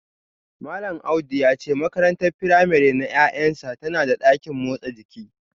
Malam Audu ya ce makarantar firamare na ’ya’yansa tana da dakin motsa jiki